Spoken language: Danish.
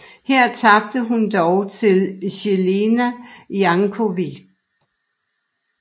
Her tabte hun dog til Jelena Janković